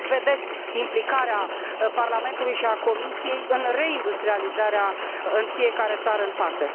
Cum vedeți implicarea Parlamentului și a Comisiei în reindustrializarea în fiecare țară în parte?